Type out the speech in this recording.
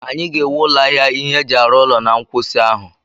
Anyị ga-ewu ụlọ ahịa ihe eji arụ ụlọ na nkwụsị ahụ